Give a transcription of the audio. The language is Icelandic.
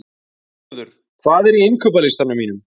Geirröður, hvað er á innkaupalistanum mínum?